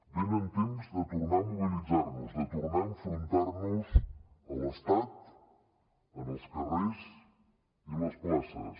venen temps de tornar a mobilitzar nos de tornar a enfrontar nos a l’estat en els carrers i les places